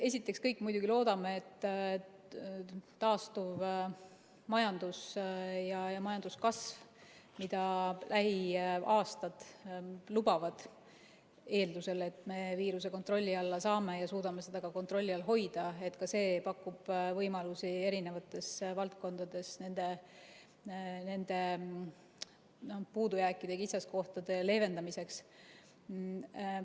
Esiteks, eks me kõik muidugi loodame, et taastuv majandus ja majanduskasv, mida lähiaastad lubavad, eeldusel, et me viiruse kontrolli alla saame ja suudame seda ka kontrolli all hoida, pakub võimalusi eri valdkondades neid puudujääke ja kitsaskohti leevendada.